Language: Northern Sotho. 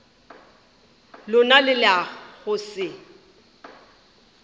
lona le la go se